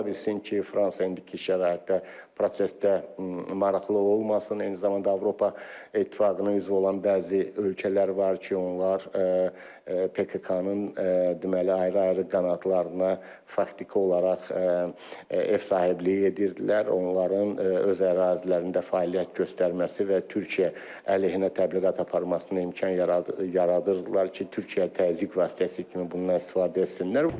Ola bilsin ki, Fransa indiki şəraitdə prosesdə maraqlı olmasın, eyni zamanda Avropa İttifaqının üzvü olan bəzi ölkələr var ki, onlar PKK-nın deməli ayrı-ayrı qanadlarına faktiki olaraq ev sahibliyi edirdilər, onların öz ərazilərində fəaliyyət göstərməsi və Türkiyə əleyhinə təbliğat aparmasına imkan yaradırdılar ki, Türkiyə təzyiq vasitəsi kimi bundan istifadə etsinlər.